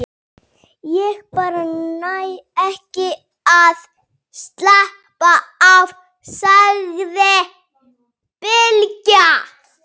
Ég bara næ ekki að slappa af, sagði Bylgja.